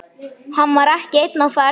Hann var ekki einn á ferð.